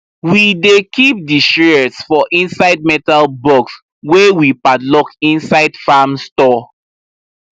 we dey keep di shears for inside metal box wey we padlock inside farm store